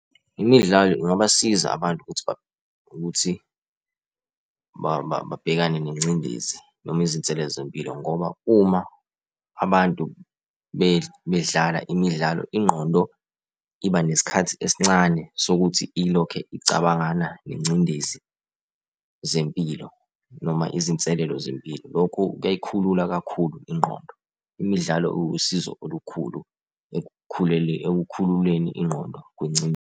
Imidlalo ingabasiza abantu ukuthi ukuthi babhekane nengcindezi noma izinselelo zempilo ngoba uma abantu bedlala imidlalo, ingqondo iba nesikhathi esincane sokuthi ilokhe icabangana nengcindezi zempilo noma izinselelo zempilo. Lokhu kuyayikhulula kakhulu ingqondo. Imidlalo iwusizo olukhulu ekukhululeni ingqondo .